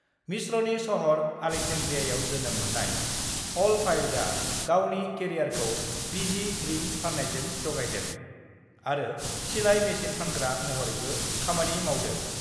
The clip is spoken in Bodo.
मिश्रनि शहर आलेक्जेन्ड्रियाआव जोनोम मोननाय अल-फायदआ गावनि केरियारखौ बिजि ड्रिंक फाननायजों जगायदों आरो सिलाइ मेशिन फानग्रा महरैबो खामानि मावदों।